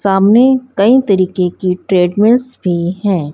सामने कई तरीके की ट्रेडमैन भी है।